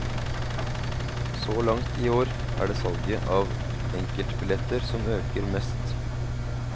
Så langt i år er det salget av enkeltbilletter som øker mest.